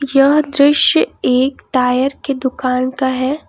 यह दृश्य एक टायर की दुकान का है।